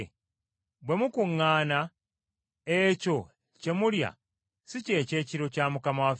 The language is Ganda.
Bwe mukuŋŋaana ekyo kye mulya si kye kyekiro kya Mukama waffe.